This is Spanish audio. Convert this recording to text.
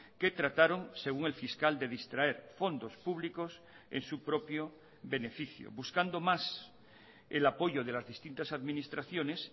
que trataron según el fiscal de distraer fondos públicos en su propio beneficio buscando más el apoyo de las distintas administraciones